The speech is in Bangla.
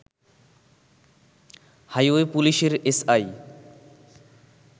হাইওয়ে পুলিশের এসআই